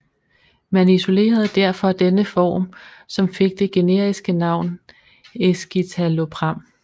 Man isolerede derfor denne form som fik det generiske navn escitalopram